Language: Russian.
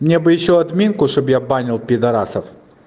мне бы ещё админку чтобы я банил пидарасов